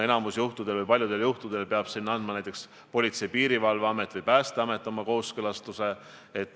Praegu peab paljudel juhtudel kooskõlastuse andma Politsei- ja Piirivalveamet või Päästeamet.